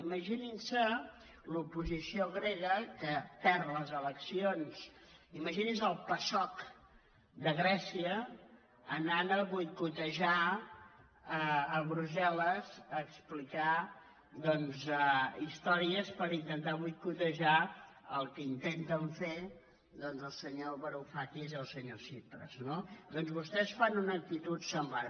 imagininse l’oposició grega que perd les eleccions imagininse el pasok de grècia anant a boicotejar a brussel·les a explicar doncs històries per intentar boicotejar el que intenten fer el senyor varoufakis i el senyor tsipras no doncs vostès fan una actitud semblant